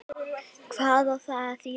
Hvað á það að þýða?